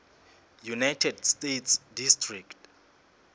united states district